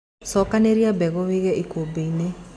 Cokanĩrĩria mbegũ wige ikũmbĩ-inĩ.